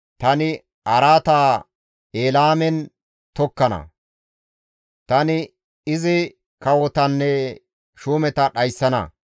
Tani araata Elaamen tokkana; tani izi kawotanne shuumeta dhayssana.